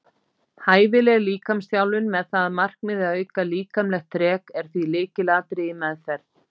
Hæfileg líkamsþjálfun með það að markmiði að auka líkamlegt þrek er því lykilatriði í meðferð.